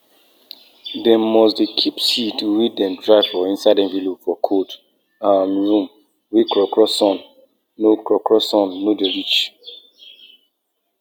e get one time wey the bull wey we get been stand for my papa and thief front for day wey them go market.